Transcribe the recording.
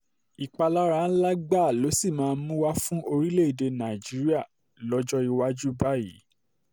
ìpalára ńlá gbáà ló sì um máa mú wá fún orílẹ̀-èdè nàìjíríà lọ́jọ́ um iwájú báyìí